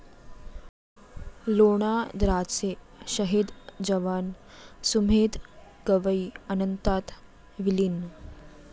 लोणाद्राचे शहीद जवान सुमेध गवई अनंतात विलीन